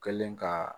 Kɛlen ka